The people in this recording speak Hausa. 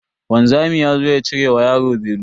Wanzami yazo ya cire wa yaro belu.